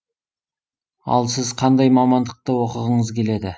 ал сіз қандай мамандықты оқығыңыз келеді